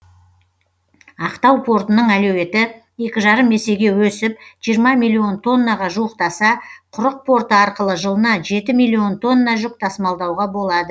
ақтау портының әлеуеті екі жарым есеге өсіп жиырма миллион тоннаға жуықтаса құрық порты арқылы жылына жеті миллион тонна жүк тасымалдауға болады